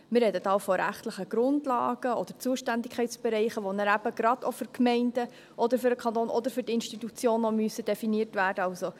Also: Wir sprechen da auch von rechtlichen Grundlagen oder Zuständigkeitsbereichen, die nachher eben gerade für die Gemeinden, für den Kanton oder für die Institutionen definiert werden müssen.